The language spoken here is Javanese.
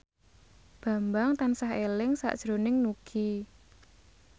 Bambang tansah eling sakjroning Nugie